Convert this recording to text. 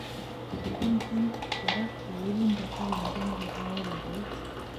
Mitei kora kewelindo agenge nebo kawekab eut